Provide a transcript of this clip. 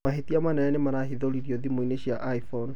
mahĩtia manene nĩmarahĩthũririo thĩmũ-inĩ cĩa iphone